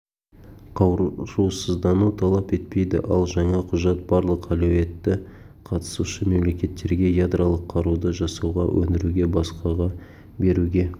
қарусыздануды талап етпейді ал жаңа құжат барлық әлеуетті қатысушы-мемлекеттерге ядролық қаруды жасауға өндіруге басқаға беруге